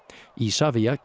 Isavia